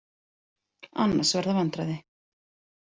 Annars verða vandræði